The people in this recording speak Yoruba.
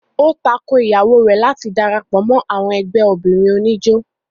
ó tako Ìyàwó rẹ̀ láti darapọ̀ mọ́ ẹgbẹ́ àwọn obìnrin oníjó